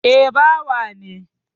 Eh, bawa ne